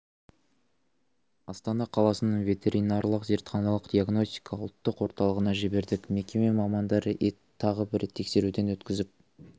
астана қаласының ветеринариялық зертханалық диагностика ұлттық орталығына жібердік мекеме мамандары етті тағы бір тексеруден өткізіп